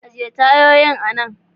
Ajiye tayoyin anan.